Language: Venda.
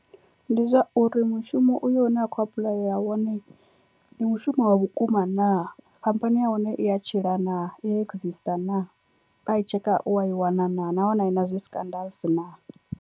Ndi zwa uri mushumo uyo une a khou apuḽayela wone ndi mushumo wa vhukuma naa khamphani ya hone i ya tshila naa i ya excister naa a i tsheka u wa i wana naa nahone a i na zwi scandals naa.